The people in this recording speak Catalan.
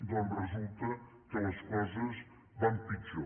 doncs resulta que les coses van pitjor